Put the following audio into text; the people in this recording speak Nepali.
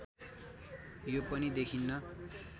यो पनि देखिन्न